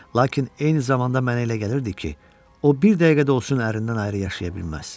Lakin eyni zamanda mənə elə gəlirdi ki, o bir dəqiqə də olsun ərindən ayrı yaşaya bilməz.